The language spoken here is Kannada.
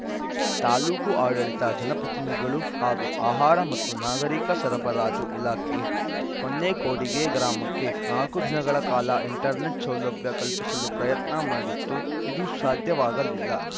ತಾಲೂಕು ಆಡಳಿತ ಜನಪ್ರತಿನಿಧಿಗಳು ಹಾಗೂ ಆಹಾರ ಮತ್ತು ನಾಗರಿಕ ಸರಬರಾಜು ಇಲಾಖೆ ಹೊನ್ನೇಕೊಡಿಗೆ ಗ್ರಾಮಕ್ಕೆ ನಾಲ್ಕು ದಿನಗಳ ಕಾಲ ಇಂಟರ್‌ನೆಟ್‌ ಸೌಲಭ್ಯ ಕಲ್ಪಿಸಲು ಪ್ರಯತ್ನ ಮಾಡಿತ್ತು ಇದು ಸಾಧ್ಯವಾಗಲಿಲ